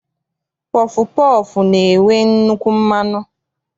Pọfụ pọọfụ na-enwe nnukwu mmanụ.